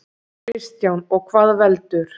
Kristján: Og hvað veldur?